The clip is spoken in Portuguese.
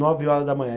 Nove horas da manhã.